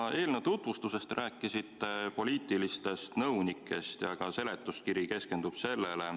Oma eelnõu tutvustuses te rääkisite poliitilistest nõunikest ja ka seletuskiri keskendub nendele.